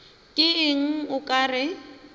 ke eng o ka re